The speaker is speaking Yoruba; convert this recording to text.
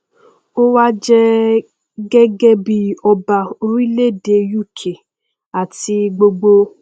ó wa jẹ gẹgẹ bí ọba orílẹèdè uk àti gbogbo